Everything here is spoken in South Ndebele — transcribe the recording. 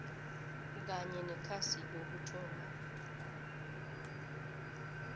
kanye nekhasi lokuthoma